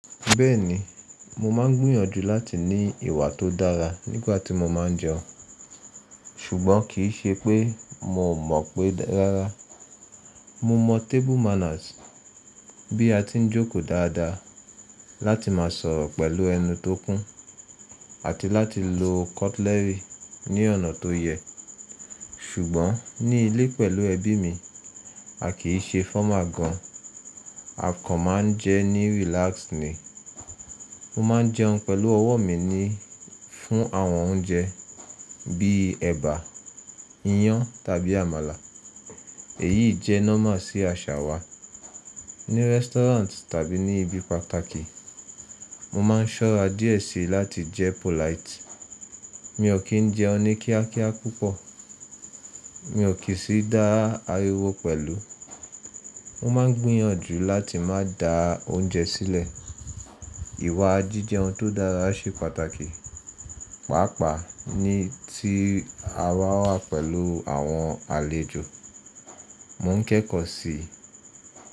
Bẹ́ẹ̀ni, mo máa ń gbìyànjú láti ní ìwà tó dára nígbà tí mo máa ń jẹun, ṣùgbọ́n kì í ṣe pé mo mọ̀ pé rárá. Mo mọ̀ table manners, bí a ti ń jókòó dáadáa láti má sọ̀rọ̀ pẹ̀lú ẹnu tó kún àti láti lo cutlery ní ọ̀nà tó yẹ. Ṣùgbọ́n ní ilé pẹ̀lú ẹbí mi, a kì í ṣe formal gan an. A kàn máa ń jẹun ní relaxed ni. Mo máa ń jẹun pẹ̀lú ọwọ́ mi ni fún àwọn oúnjẹ bí i ẹ̀bà, iyán tàbí àmàlà. Èyí jẹ́ normal sí àṣà wa. Ní restaurant tàbí ní ibi pàtàkì, mo máa ń ṣọ́ra díẹ̀ síi láti jẹ polite. Mi ò kí ń jẹun ní kíákíá púpọ̀, mi ò kí sì dá ariwo pẹ̀lú. Mo máa ń gbìyànjú láti má da oúnjẹ sílẹ̀. Ìwà jíjẹun tó dára ṣe pàtàkì, pàápàá ní tí a wà pẹ̀lú àwọn àlejò. Mo ń kẹ́kọ̀ọ́ síi.